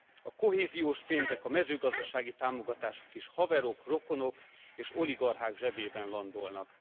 A kohéziós pénzek, a mezőgazdasági támogatások is haverok, rokonok és oligarchák zsebében landolnak.